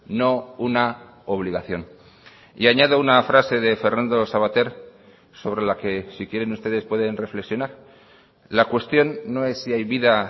no una obligación y añado una frase de fernando savater sobre la que si quieren ustedes pueden reflexionar la cuestión no es si hay vida